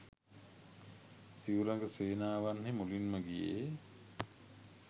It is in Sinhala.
සිව් රඟ සේනාවන්හි මුලින්ම ගියේ